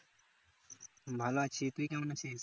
ভালো আছি তুই কেমন আছিস